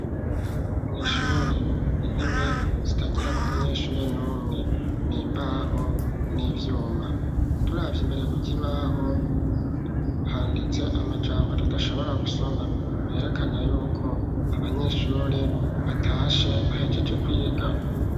Mw'ishure intebe zitagira ko umunyeshure n'umwe nimbaho n'ivyuma turavya imbere kukibaho handitse amajambo tudashobora gusoma herekana yuko abanyeshure batashe bahejeje kwiga.